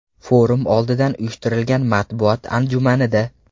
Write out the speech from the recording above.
Forum oldidan uyushtirilgan matbuot anjumanida.